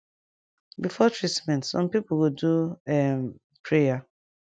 before treatment sum pipu go do um prayer